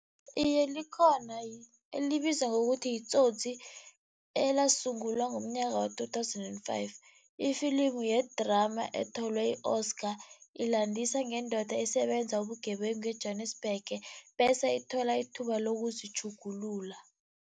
Iye, likhona elibizwa ngokuthi yiTsotsi elasungulwa ngomnyaka waka-two thousand and five. Ifilimu yedrama ethole i-Oscar, ilandisa ngendoda esebenza ubugebengu eJwanisbhege, bese ithola ithuba lokuzitjhugulula.